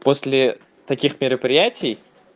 после таких мероприятий